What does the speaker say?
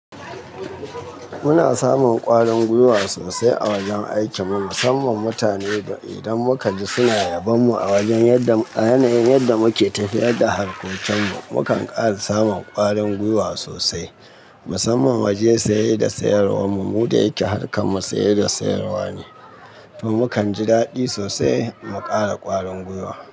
Muna samun ƙwarin gwiwa sosai a wajen aikin mu musamman mutane idan muka ji suna yabon mu a yanayin yadda muke tafiyar da harkokin mu, mukan ƙara samun ƙwarin gwiwa sosai musamman wajen saye da sayarwa mu mu da yake harkar mu saye da sayarwa ne, to muka ji daɗi sosai mu ƙara ƙwarin gwiwa.